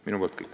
Minu poolt kõik.